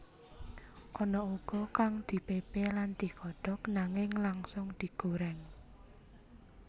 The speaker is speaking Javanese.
Ana uga kang ora dipepe lan digodhog nanging langsung digoreng